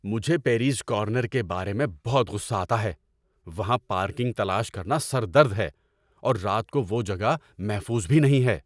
مجھے Perry's Corner کے بارے میں بہت غصہ آتا ہے۔ وہاں پارکنگ تلاش کرنا سر درد ہے، اور رات کو وہ جگہ محفوظ بھی نہیں ہے۔